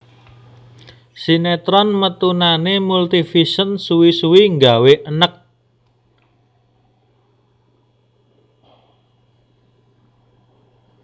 Sinetron metunane Multivision suwi suwi nggawe eneg